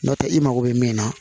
N'o tɛ i mago bɛ min na